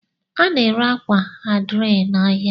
A na ere ákwà adire na áhiá.